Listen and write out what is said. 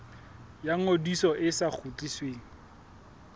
ya ngodiso e sa kgutlisweng